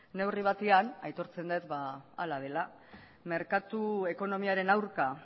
neurri batean aitortzen dut hala dela merkatu ekonomiaren aurka